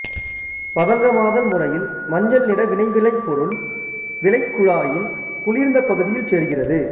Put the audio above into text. பதங்கமாதல் முறையில் மஞ்சள்நிற வினைவிளைபொருள் வினைக்குழாயின் குளிர்ந்த பகுதியில் சேர்கிறது